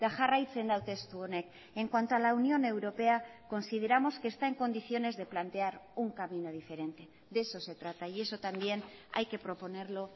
jarraitzen du testu honek en cuanto a la unión europea consideramos que está en condiciones de plantear un camino diferente de eso se trata y eso también hay que proponerlo